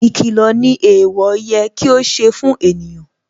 Ìkìlọ̀ ni ẹ̀ẹ̀wọ̀ yẹ kí ó ṣe fún ènìyàn